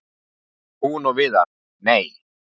Hún og Viðar- nei!